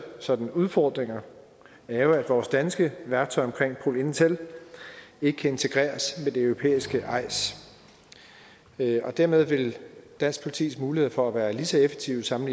sådan udfordringer er jo at vores danske værktøj omkring pol intel ikke kan integreres med det europæiske eis og dermed vil dansk politis mulighed for at være lige så effektive som